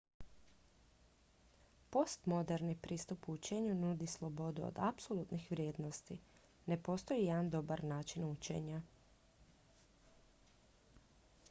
postmoderni pristup učenju nudi slobodu od apsolutnih vrijednosti ne postoji jedan dobar način učenja